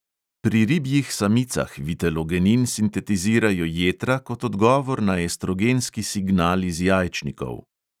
Pri ribjih samicah vitelogenin sintetizirajo jetra kot odgovor na estrogenski signal iz jajčnikov.